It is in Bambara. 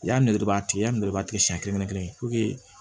I y'a nɛgɛ nɛgɛ b'a tigiya nɛgɛbaa tigɛ siɲɛ kelen kelen kelen kelen kelen